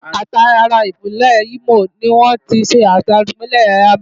Àti ara Ìpínlẹ̀ Imo ni wọ́n ti ṣẹ̀dá Ìpínlẹ̀ Abia.